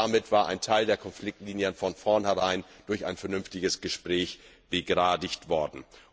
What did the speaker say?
Damit war ein Teil der Konfliktlinien von vornherein durch ein vernünftiges Gespräch begradigt worden.